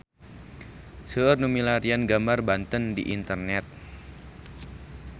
Seueur nu milarian gambar Banten di internet